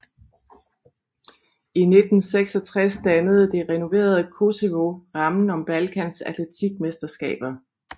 I 1966 dannede det renoverede Koševo rammen om Balkans atletikmesterskaber